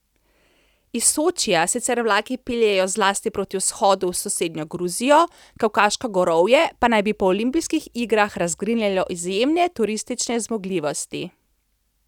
Iz Sočija sicer vlaki peljejo zlasti proti vzhodu v sosednjo Gruzijo, Kavkaško gorovje pa naj bi po olimpijskih igrah razgrinjalo izjemne turistične zmogljivosti.